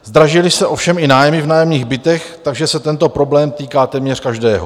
Zdražily se ovšem i nájmy v nájemních bytech, takže se tento problém týká téměř každého.